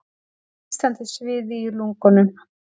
Nístandi sviði í lungunum.